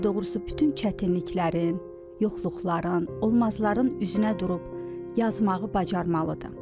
Daha doğrusu bütün çətinliklərin, yoxluqların, olmazların üzünə durub yazmağı bacarmalıdır.